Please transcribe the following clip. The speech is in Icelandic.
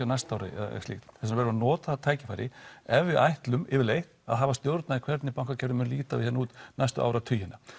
á næsta ári eða slíkt því verður að nota þetta tækifæri ef við ætlum yfirleitt að hafa stjórn á því hvernig bankakerfið mun líta út næstu áratugina